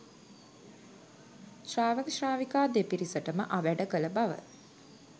ශාවක ශ්‍රාවිකා දෙපිරිසටම අවැඩ කළ බව